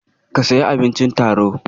Ka sayi abincin taro.